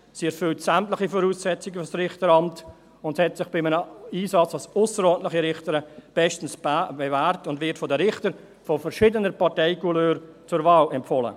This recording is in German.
Sie erfüllt sämtliche Voraussetzungen für das Richteramt, hat sich bei einem Einsatz als ausserordentliche Richterin bestens bewährt und wird von Richtern verschiedener Parteicouleur zur Wahl empfohlen.